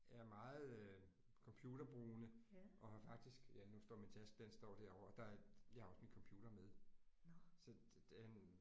Jeg er meget øh computerbrugende og har faktisk ja nu står min taske den står derovre der jeg har også min computer med så øh